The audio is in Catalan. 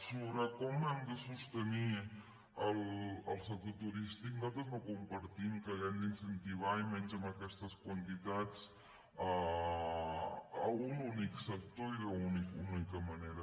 sobre com hem de sostenir el sector turístic nosaltres no compartim que hàgim d’incentivar i menys amb aquestes quantitats un únic sector i d’una única ma·nera